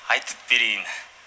айтып берейін